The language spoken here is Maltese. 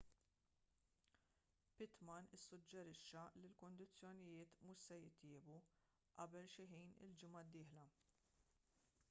pittman issuġġerixxa li l-kundizzjonijiet mhux se jitjiebu qabel xi ħin il-ġimgħa d-dieħla